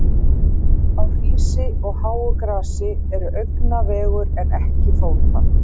Á hrísi og háu grasi er augna vegur en ekki fóta.